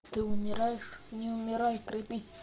ты умираешь не умирай крепись